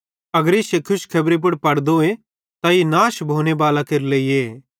पन अगर इश्शे खुशखबरी पुड़ पड़दोए त ई नाश भोने बालां केरे लेइए